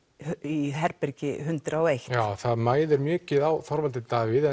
í herbergi hundrað og einum já það mæðir mikið á Þorvaldi Davíð